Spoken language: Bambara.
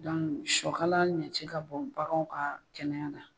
shɔkala ɲɛci ka bon baganw ka kɛnɛya na.